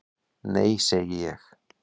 """Nei, segi ég."""